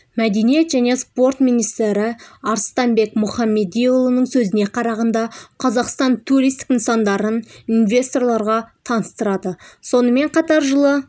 мәдениет және спорт министрі арыстанбек мұхамедиұлының сөзіне қарағанда қазақстан туристік нысандарын инвесторларға таныстырады сонымен қатар жылы